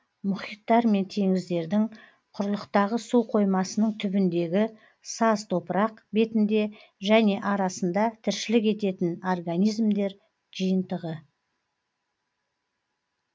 мұхиттар мен теңіздердің құрлықтағы суқоймасының түбіндегі саз топырақ бетінде және арасында тіршілік ететін организмдер жиынтығы